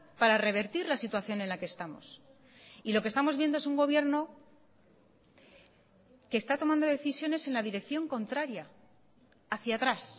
para revertir la situación en la que estamos y lo que estamos viendo es un gobierno que está tomando decisiones en la dirección contraria hacia atrás